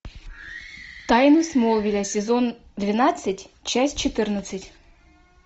тайны смолвиля сезон двенадцать часть четырнадцать